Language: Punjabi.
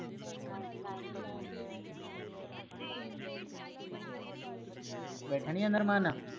ਬੈਠਾ ਨੀ ਜਾਂਦਾ ਅਰਾਮ ਨਾਲ